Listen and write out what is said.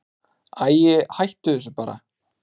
Æi, hættu þessu bara.